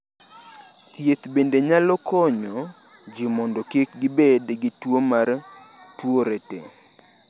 Thieth bende nyalo konyo ji mondo kik gibed gi tuwo mar Tourette.